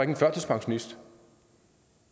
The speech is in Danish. en førtidspensionists